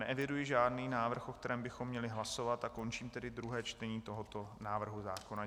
Neeviduji žádný návrh, o kterém bychom měli hlasovat, a končím tedy druhé čtení tohoto návrhu zákona.